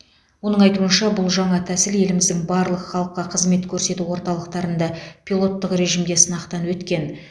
оның айтуынша бұл жаңа тәсіл еліміздің барлық халыққа қызмет көрсету орталықтарында пилоттық режімде сынақтан өткен